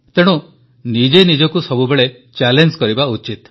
ତେଣୁ ନିଜେ ନିଜକୁ ସବୁବେଳେ ଚ୍ୟାଲେଞ୍ଜ କରିବା ଉଚିତ